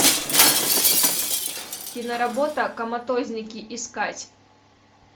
киноработа коматозники искать